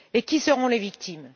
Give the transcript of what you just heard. Et qui seront les victimes?